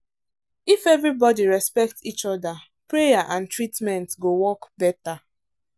if everybody respect each other prayer and treatment go work better.